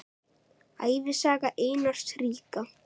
Ævisaga Einars ríka